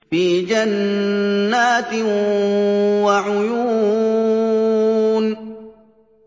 فِي جَنَّاتٍ وَعُيُونٍ